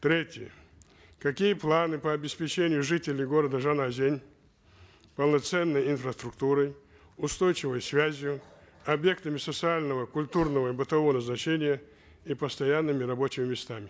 третье какие планы по обеспечению жителей города жанаозен полноценной инфраструктурой устойчивой связью объектами социального культурного и бытового значения и постоянными рабочими местами